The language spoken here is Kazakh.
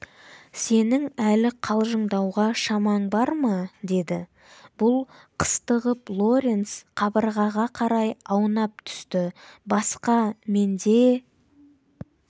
сенің әлі қалжыңдауға шамаң бар ма деді бұл қыстығып лоренс қабырғаға қарай аунап түсті басқа менде